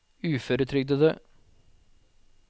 uføretrygdede